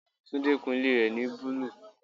Tunde kun ilé rẹ ni búlúù.